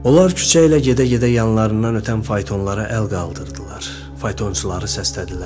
Onlar küçə ilə gedə-gedə yanlarından ötən faytonlara əl qaldırdılar, faytonçuları səslədilər.